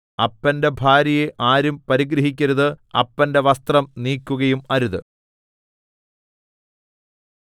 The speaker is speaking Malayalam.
അപ്പന്റെ ഭാര്യയെ ആരും പരിഗ്രഹിക്കരുത് അപ്പന്റെ വസ്ത്രം നീക്കുകയും അരുത്